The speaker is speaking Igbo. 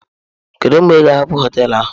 Kedu mgbe ị ga-hapụ hoteelu a?